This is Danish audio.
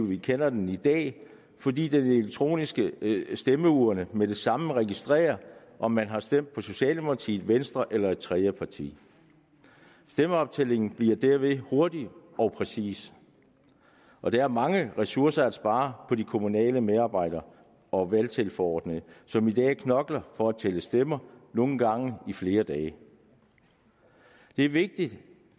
vi kender den i dag fordi den elektroniske stemmeurne med det samme registrerer om man har stemt på socialdemokratiet venstre eller et tredje parti stemmeoptællingen bliver derved hurtig og præcis og der er mange ressourcer at spare på de kommunale medarbejdere og valgtilforordnede som i dag knokler for at tælle stemmer nogle gange i flere dage det er vigtigt